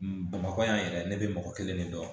Bamakɔ yan yɛrɛ ne bɛ mɔgɔ kelen de dɔn